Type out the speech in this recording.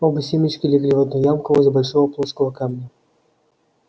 оба семечка легли в одну ямку возле большого плоского камня